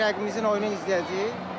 Biz rəqibimizin oyununu izləyəcəyik.